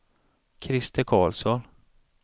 Christer Carlsson